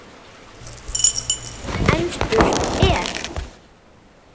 En spurt er: